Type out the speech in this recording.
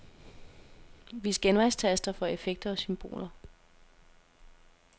Vis genvejstaster for effekter og symboler.